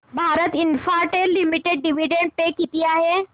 Bharti Infratel limited dividend pay किती आहे